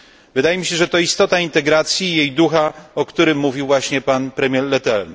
Wydaje mi się, że to istota integracji i jej ducha, o którym mówił właśnie pan premier Leterme.